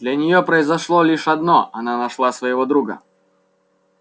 для неё произошло лишь одно она нашла своего друга